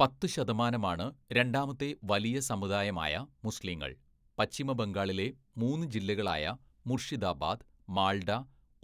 പത്ത് ശതമാനമാണ്‌ രണ്ടാമത്തെ വലിയ സമുദായമായ മുസ്ലീങ്ങൾ, പശ്ചിമ ബംഗാളിലെ മൂന്ന് ജില്ലകളായ മുർഷിദാബാദ്, മാൾഡ,